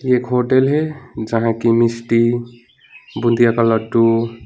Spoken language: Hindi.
एक होटल है जहां की मिस्टी बुंदिया क लड्डू।